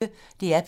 DR P1